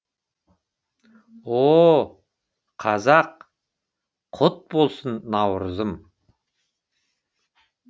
о қазақ құт болсын наурызым